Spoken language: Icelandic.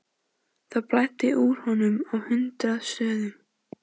Það blæddi úr honum á hundrað stöðum.